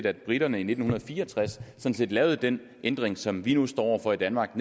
at briterne i nitten fire og tres lavede den ændring som vi nu står over for i danmark